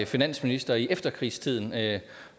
finansministeren